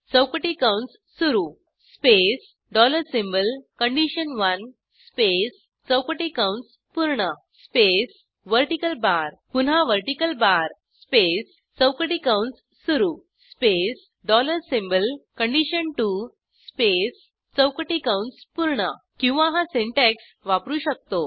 चौकटी कंस सुरू स्पेस डॉलर सिम्बॉल कंडिशन1 स्पेस चौकटी कंस पूर्ण स्पेस व्हर्टिकल बार पुन्हा व्हर्टिकल बार स्पेस चौकटी कंस सुरू स्पेस डॉलर सिम्बॉल कंडिशन2 स्पेस चौकटी कंस पूर्ण किंवा हा सिंटॅक्स वापरू शकतो